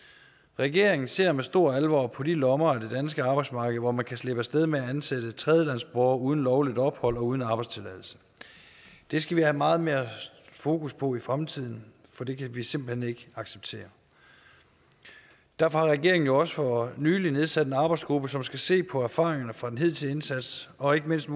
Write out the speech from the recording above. regeringen ser med stor alvor på de lommer af det danske arbejdsmarked hvor man kan slippe af sted med at ansætte tredjelandsborgere uden lovligt ophold og uden arbejdstilladelse det skal vi have meget mere fokus på i fremtiden for det kan vi simpelt hen ikke acceptere derfor har regeringen jo også for nylig nedsat en arbejdsgruppe som skal se på erfaringerne fra den hidtidige indsats og ikke mindst